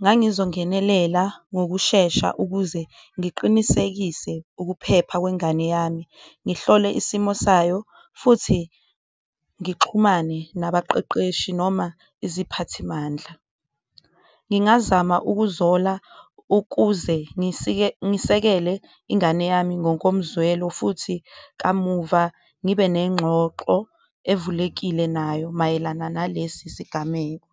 ngangizongenelela ngokushesha ukuze ngiqinisekise ukuphepha kwengane yami, ngihlole isimo sayo futhi ngixhumane nabaqeqeshi noma iziphathimandla. Ngingazama ukuzola ukuze ngisekele ingane yami ngokomzwelo, futhi kamuva ngibe nenxoxo evulekile nayo mayelana nalesi sigameko.